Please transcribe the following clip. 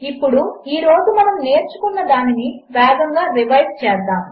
ఇప్పుడు ఈరోజుమనమునేర్చుకున్నదానినివేగముగారివైస్చేద్దాము